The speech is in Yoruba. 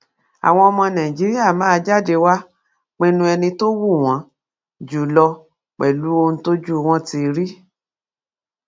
àwọn ọmọ nàìjíríà máa jáde wàá pinnu ẹni tó wù wọn jù lọ pẹlú ohun tójú wọn ti rí